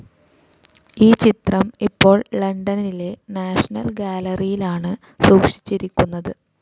ഈ ചിത്രം ഇപ്പോൾ ലണ്ടനിലെ നാഷണൽ ഗാലറിയിലാണ് സൂക്ഷിച്ചിരിക്കുന്നത്.